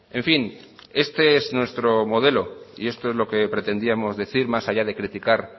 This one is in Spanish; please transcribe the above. en fin este es nuestro modelo y esto es lo que pretendíamos decir más allá de criticar